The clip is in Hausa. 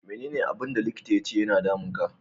Me ne ne abun da likita ya ce ya na damun ka?